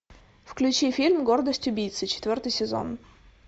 включи фильм гордость убийцы четвертый сезон